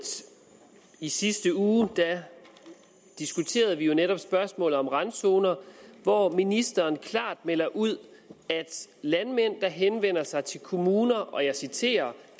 i sidste uge diskuterede vi netop spørgsmålet om randzoner hvor ministeren klart meldte ud at landmænd der henvender sig til kommuner og jeg citerer